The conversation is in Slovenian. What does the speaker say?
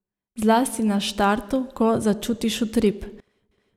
Zlasti na štartu, ko začutiš utrip.